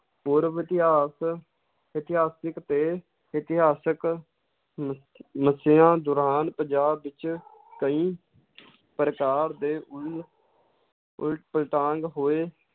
ਪੂਰਵ ਇਤਿਹਾਸ, ਇਤਹਾਸਿਕ ਤੇ ਇਤਿਹਾਸਿਕ ਦੌਰਾਨ ਪੰਜਾਬ ਵਿੱਚ ਕਈ ਪ੍ਰਕਾਰ ਦੇ ਉਲ~ ਉਲ ਪਲਟਾਂਗ ਹੋਏ